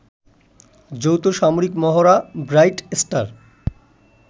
যৌথ সামরিক মহড়া 'ব্রাইট স্টার